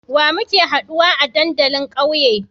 Wa muke haduwa a dandalin ƙauye?